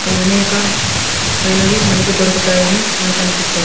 అనేక మైనవి మనకు దొరుకుతాయని నాకు అనిపిస్తు--